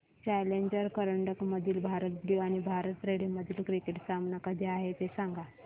challenger करंडक मधील Bharat blue आणि भारत रेड मधील क्रिकेट सामना कधी आहे ते सांगा